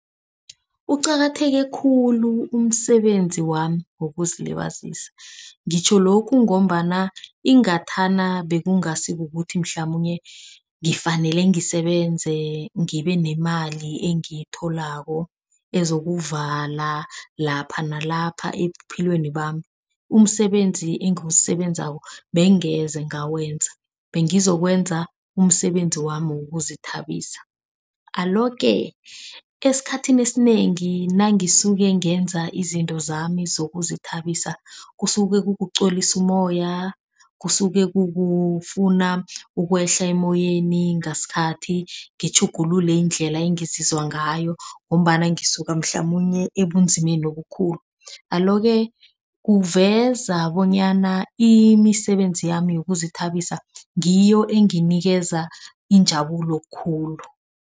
Uqakatheke khulu umsebenzi wami wokuzilibazisa. Ngitjho lokhu ngombana ingathana bekungasi kukuthi mhlamunye ngifanele ngisebenzise ngibe neemali engiyitholako ezokuvala lapha nalapha ephikweni bami. Umsebenzi engiwusebenzako bangeze ngawenza. Bengizokwenza umsebenzi wami wokuzithabisa. Alo-ke esikhathini esinengi nangisuke ngenza izinto zami zokuzithabisa kusuke kukuqolisa umoya, kusuke kukufuna ukwehla emoyeni. Ngasikhathi ngitjhugulule indlela engizizwa ngayo ngombana ngisuke mhlamunye ebumzimbeni obukhulu. Alo-ke kuveza bonyana imisebenzi yami yokuzithabisa ngiyo enginikeza injabulo khulu.